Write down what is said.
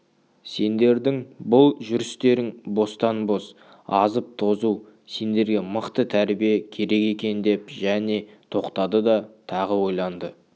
сендердің бұл жүрістерің бостан-бос азып-тозу сендерге мықты тәрбие керек екен деп және тоқтады тағы ойланды